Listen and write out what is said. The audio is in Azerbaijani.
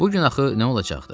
Bu gün axı nə olacaqdı?